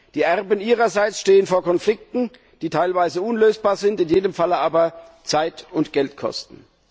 Die Erben ihrerseits stehen vor Konflikten, die teilweise unlösbar sind, in jedem Falle aber Zeit und Geld kosten.